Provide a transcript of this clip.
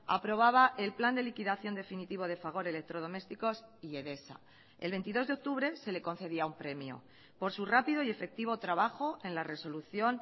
aprobaba el plan de liquidación definitivo de fagor electrodomésticos y edesa el veintidós de octubre se le concedía un premio por su rápido y efectivo trabajo en la resolución